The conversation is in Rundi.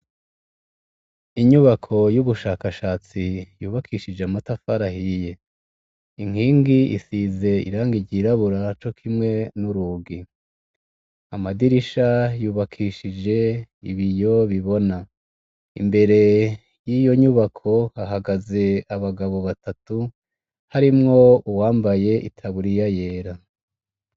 Inyubako yubushakashatsi yubakishije amatafari ahiye inkingi isizeirangi ryirabura cokimwe n'urugi amadirisha yubakishije ibiyo bibona .Imbere yiyonyubako hahagaze abagabo abtatu harimwo uwambaye itaburiya yera.